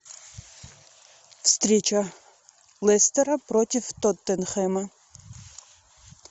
встреча лестера против тоттенхэма